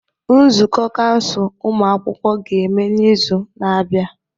Nzukọ kansụl ụmụ akwụkwọ ga-eme n'izu na-abịa.